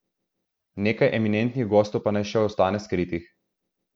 Nekaj eminentnih gostov pa naj še ostane skritih.